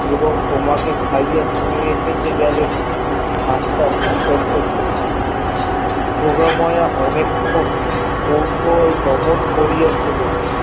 এবং তোমাকে খাইয়া তুমি শেষে গেলে ভাব তা সুন্দর যোগমায়া অনেকক্ষণ কৌতূহল দমন করিয়াছিল